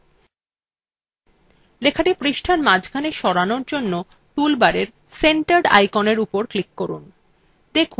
lলেখাটি পৃষ্টার মাঝখানে সরানোর জন্য toolbar centered আইকনের উপর click করুন